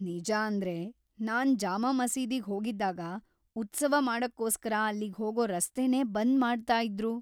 ನಿಜಾಂದ್ರೆ, ನಾನ್ ಜಾಮಾ ಮಸೀದಿಗ್ ಹೋಗಿದ್ದಾಗ ಉತ್ಸವ ಮಾಡಕ್ಕೋಸ್ಕರ ಅಲ್ಲಿಗ್‌ ಹೋಗೋ ರಸ್ತೆನೇ ಬಂದ್‌ ಮಾಡ್ತಾಯಿದ್ರು.